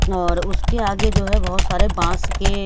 और उसके आगे जो है बहुत सारे बांस के--